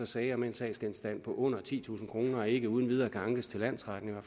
sager med en sagsgenstand på under titusind kroner ikke uden videre kan ankes til landsretten